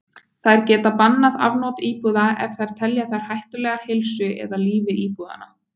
Þær geta bannað afnot íbúða ef þær telja þær hættulegar heilsu eða lífi íbúanna.